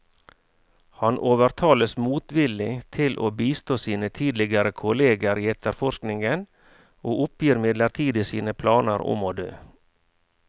Han overtales motvillig til å bistå sine tidligere kolleger i etterforskningen, og oppgir midlertidig sine planer om å dø.